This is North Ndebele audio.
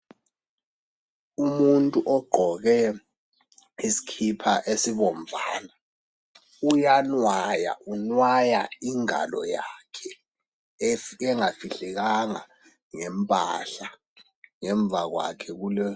Umuntu ogqoke isikhipha esibomvana. Uyanwaya. Unwaya ingalo yakhe engafihlekanga ngempahla. Ngemuva kwakhe kule